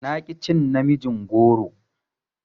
Na ƙi cin namijin goron.